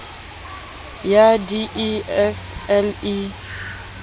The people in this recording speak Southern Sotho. ya d e f le